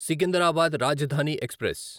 Secunderabad Rajdhani express